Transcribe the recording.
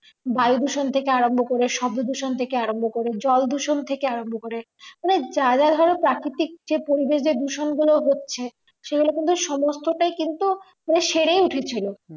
বায়ুদূষণ থেকে আরাম্ভ করে শব্দদূষণ থেকে আরাম্ভ করে জলদূষণ থেকে আরাম্ভ করে মানে যারা ধরো যে প্রাকৃতিক যে পরিবেশ দূষণ গুলো হচ্ছে সেগুলো কিন্তু সমস্ত টা কিন্তু মানে সেরে উঠছিলো